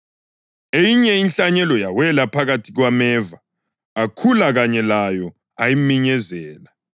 Eyinye inhlanyelo yawela phakathi kwameva, akhula kanye layo ayiminyezela.